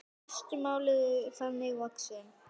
Fæst mál eru þannig vaxin.